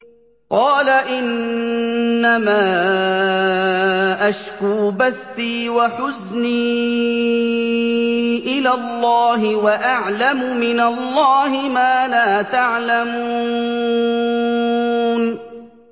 قَالَ إِنَّمَا أَشْكُو بَثِّي وَحُزْنِي إِلَى اللَّهِ وَأَعْلَمُ مِنَ اللَّهِ مَا لَا تَعْلَمُونَ